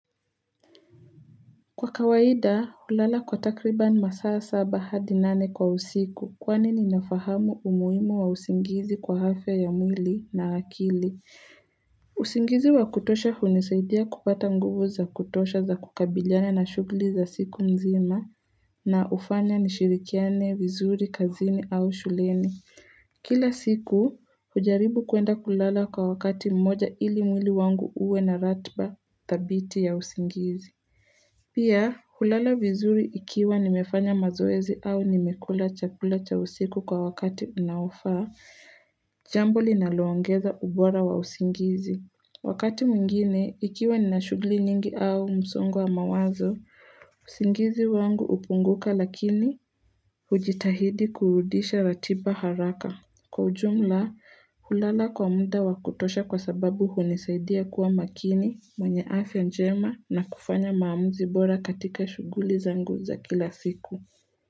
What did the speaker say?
Kwa kawaida, hulala kwa takriban masaa saba hadi nane kwa usiku kwani ninafahamu umuhimu wa usingizi kwa afya ya mwili na akili. Usingizi wa kutosha hunisaidia kupata nguvu za kutosha za kukabiliana na shughli za siku nzima na hufanya nishirikiane, vizuri, kazini au shuleni. Kila siku, hujaribu kwenda kulala kwa wakati mmoja ili mwili wangu uwe na ratiba, dhabiti ya usingizi. Pia, hulala vizuri ikiwa nimefanya mazoezi au nimekula chakula cha usiku kwa wakati unaofaa, jambo linaloongeza ubora wa usingizi. Wakati mwingine, ikiwa nina shughli nyingi au msongo wa mawazo, usingizi wangu hupunguka lakini hujitahidi kurudisha ratiba haraka. Kwa ujumla, hulala kwa muda wakutosha kwa sababu hunisaidia kuwa makini mwenye afya njema na kufanya maamuzi bora katika shughuli zangu za kila siku.